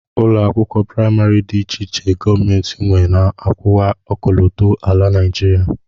Ụlọakwụkwọ praịmarị dị iche iche gọọmenti nwe na-akwụwa ọkọlọtọ ala Naịjirịa